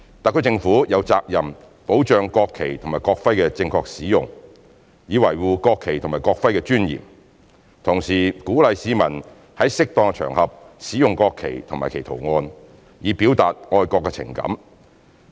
特區政府有責任保障國旗及國徽的正確使用，以維護國旗及國徽的尊嚴，同時鼓勵市民在適當場合使用國旗及其圖案，以表達愛國情感。